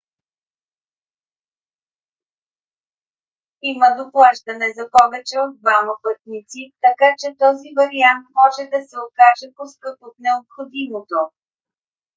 има доплащане за повече от двама пътници така че този вариант може да се окаже по-скъп от необходимото